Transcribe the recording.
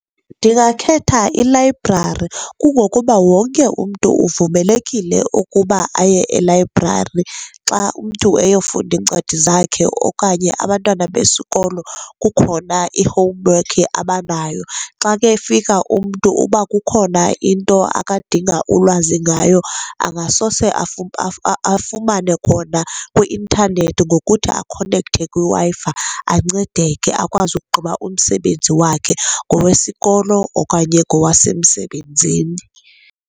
Ndingakhetha ilayibrari kungokuba wonke umntu uvumelekile ukuba aye elayibrari xa umntu eyofunda iincwadi zakhe okanye abantwana besikolo kukhona i-homework abanayo. Xa kefika umntu uba kukhona into akadinga ulwazi ngayo, angasoze afumane khona kwi-intanethi ngokuthi akonekthe kwiWi-Fi ancedeke akwazi umsebenzi wakhe, ngowesikolo okanye ngowasemsebenzini.